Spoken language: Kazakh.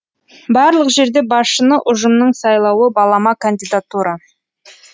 барлық жерде басшыны ұжымның сайлауы балама кандидатура